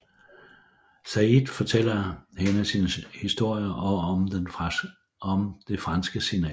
Sayid fortæller hende sin historie og om det franske signal